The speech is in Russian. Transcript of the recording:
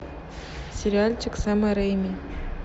сериальчик сэма рэйми